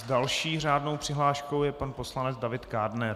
S další řádnou přihláškou je pan poslanec David Kádner.